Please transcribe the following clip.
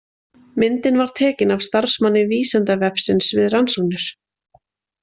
Myndin var tekin af starfsmanni Vísindavefsins við rannsóknir.